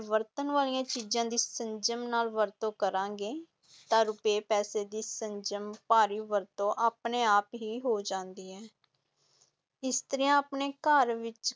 ਵਰਤਣ ਵਾਲੀਆਂ ਚੀਜ਼ਾਂ ਦੀ ਸੰਜਮ ਨਾਲ ਵਰਤੋਂ ਕਰਾਂਗੇ ਤਾਂ ਰੁਪਏ ਪੈਸੇ ਦੀ ਸੰਜਮ ਭਰੀ ਵਰਤੋਂ ਆਪਣੇ ਆਪ ਹੀ ਹੋ ਜਾਂਦੀ ਹੈ ਇਸਤਰੀਆਂ ਆਪਣੇ ਘਰ ਵਿੱਚ